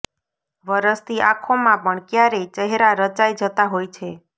વરસતી આંખોમાં પણ ક્યારેય ચહેરા રચાઈ જતા હોય છે